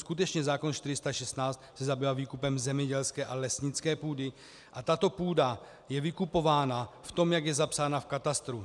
Skutečně zákon 416 se zabývá výkupem zemědělské a lesnické půdy a tato půda je vykupována v tom, jak je zapsaná v katastru.